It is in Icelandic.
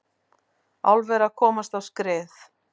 Álver að komast á skrið